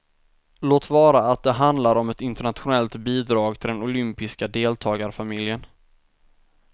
Låt vara att det handlar om ett internationellt bidrag till den olympiska deltagarfamiljen.